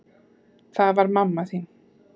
Það var mamma þín.